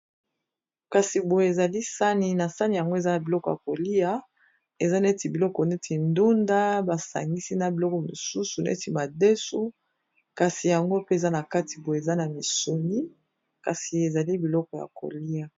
Kasi boyo ezali sani na sani yango eza na biloko ya kolia eza neti biloko neti ndunda basangisi na biloko mosusu neti madesu kasi yango pe eza na kati boye eza na misuni kasi ezali na biloko ya kolia.